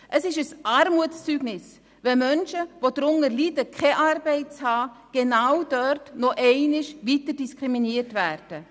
Es ist ein Armutszeugnis, wenn Menschen, die darunter leiden, keine Arbeit zu haben, genau dort noch zusätzlich diskriminiert werden.